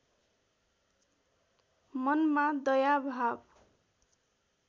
मनमा दया भाव